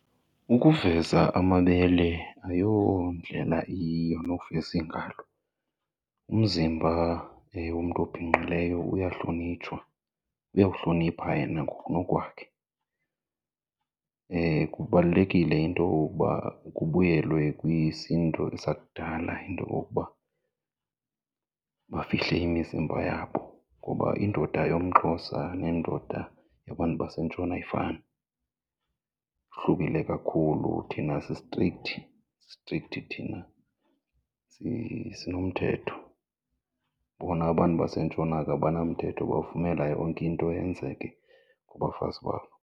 Ukuveza amabele ayondlela iyiyo nokuveza iingalo. Umzimba womntu obhinqileyo uyahlonitshwa, uyawuhlonipha yena ngokunokwakhe. Kubalulekile into yokokuba kubuyelwe kwisiNtu sakudala into yokokuba bafihle imizimba yabo ngoba indoda yomXhosa nendoda yabantu baseNtshona ayifani, ihlukile kakhulu. Thina si-strict, si-strict thina, sinomthetho, bona abantu baseNtshona ke abanamthetho bavumela yonke into yenzeke kubafazi babo.